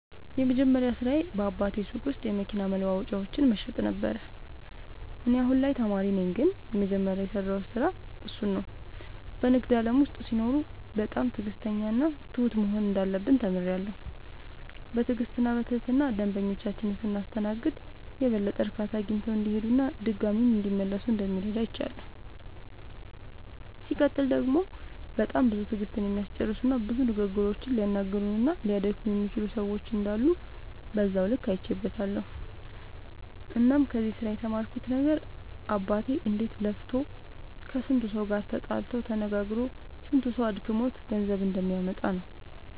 የመጀመሪያ ስራዬ በአባቴ ሱቅ ውስጥ የመኪና መለዋወጫዎችን መሸጥ ነበረ። እኔ አሁን ላይ ተማሪ ነኝ ግን የመጀመሪያ የሰራሁት ስራ እሱን ነው። በንግድ ዓለም ውስጥ ሲኖሩ በጣም ትዕግሥተኛና ትሁት መሆን እንዳለብን ተምሬያለሁ። በትዕግሥትና በትህትና ደንበኞቻችንን ስናስተናግድ የበለጠ እርካታ አግኝተው እንዲሄዱና ድጋሚም እንዲመለሱ እንደሚረዳ አይቻለሁ። ሲቀጥል ደግሞ በጣም ብዙ ትዕግሥትን የሚያስጨርሱና ብዙ ንግግሮችን ሊያነጋግሩና ሊያደክሙ የሚችሉ ሰዎች እንዳሉ በዛው ልክ አይቼበትበታለሁ። እናም ከዚህ ስራ የተማርኩት ነገር አባቴ እንዴት ለፍቶ ከስንቱ ሰው ጋር ተጣልቶ ተነጋግሮ ስንቱ ሰው አድክሞት ገንዘብ እንደሚያመጣ ነው።